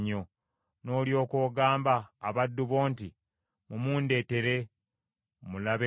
“N’olyoka ogamba abaddu bo nti, ‘Mumundeetere, mmulabeko.’